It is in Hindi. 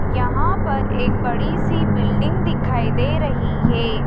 यहां पर एक बड़ी सी बिल्डिंग दिखाई दे रही है।